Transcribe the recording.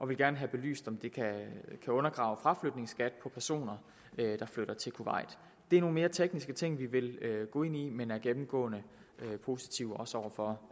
vil gerne have belyst om det kan undergrave fraflytningsskat på personer der flytter til kuwait det er nogle mere tekniske ting vi vil gå ind i men vi er gennemgående positive også over for